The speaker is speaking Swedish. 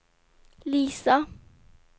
Lisa